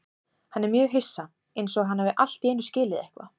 Hann er mjög hissa, einsog hann hafi allt í einu skilið eitthvað.